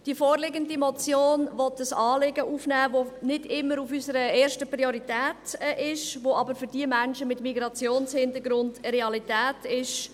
Die vorliegende Motion will ein Anliegen aufnehmen, das nicht immer unsere erste Priorität ist, das aber für die Menschen mit Migrationshintergrund Realität ist.